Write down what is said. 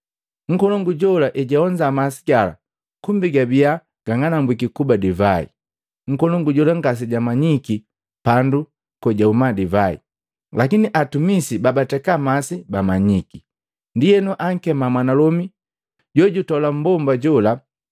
nkolongu jola ejaonza masi gala kumbi gabiya gang'anambwiki kuba divai, nkolongu jola ngasejamanyiki pandu kojahuma divai, lakini atumisi babateka masi bamanyiki. Ndienu akema mwanalomi jojutola mbomba jola,